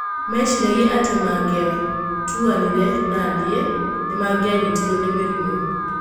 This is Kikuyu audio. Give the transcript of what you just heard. Meciragia atĩ mangĩavutanirie na niĩ, nĩ mangĩanyitirũo nĩ mĩrimũ".